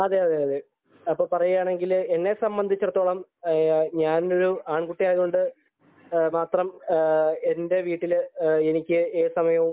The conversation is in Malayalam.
അതെയതെ അപ്പൊ പറയുകയാണെങ്കിൽ എന്നെ സംബന്ധിച്ചിടത്തോളം ഞാൻ ഒരു ആണ്കുട്ടിയായത് കൊണ്ട് മാത്രം എന്റെ വീട്ടില് എനിക്ക് ഏതു സമയവും